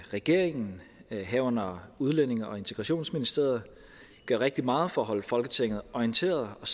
regeringen herunder udlændinge og integrationsministeriet gør rigtig meget for at holde folketinget orienteret og